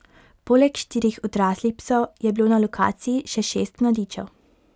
Poleg štirih odraslih psov, je bilo na lokaciji še šest mladičev.